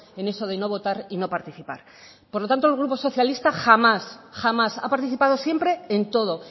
en eso de no votar y no participar por lo tanto el grupo socialista jamás jamás ha participado siempre en todo